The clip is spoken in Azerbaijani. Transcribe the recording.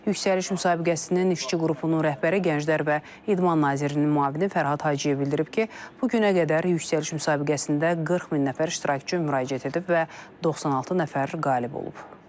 Yüksəliş müsabiqəsinin işçi qrupunun rəhbəri gənclər və idman nazirinin müavini Fərhad Hacıyev bildirib ki, bu günə qədər Yüksəliş müsabiqəsində 40 min nəfər iştirakçı müraciət edib və 96 nəfər qalib olub.